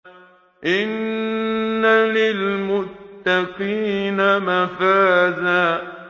إِنَّ لِلْمُتَّقِينَ مَفَازًا